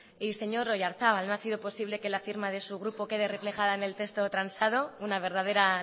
y señor oyarzábal no ha sido posible que la firma de su grupo quede reflejada en el texto transado una verdadera